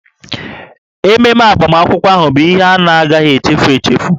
Ememe agbamakwụkwọ ahụ bụ ihe a na-agaghị echefu echefu